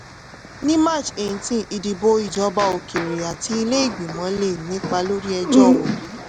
ní march eighteen ìdìbò ìjọba òkèèrè àti ilé ìgbìmọ̀ lè nípa lórí ẹjọ́ obi.